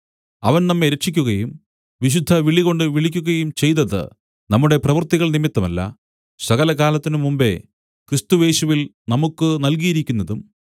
അവൻ നമ്മെ രക്ഷിയ്ക്കുകയും വിശുദ്ധവിളികൊണ്ടു വിളിക്കുകയും ചെയ്തത് നമ്മുടെ പ്രവൃത്തികൾ നിമിത്തമല്ല സകലകാലത്തിനും മുമ്പെ ക്രിസ്തുയേശുവിൽ നമുക്കു നല്കിയിരിക്കുന്നതും